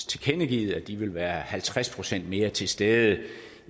tilkendegivet at de vil være halvtreds procent mere til stede